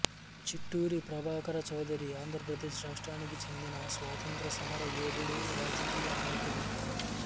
చిట్టూరి ప్రభాకర చౌదరి ఆంధ్రప్రదేశ్ రాష్ట్రానికి చెందిన స్వాతంత్య్ర సమరయోధుడు రాయకీయ నాయకుడు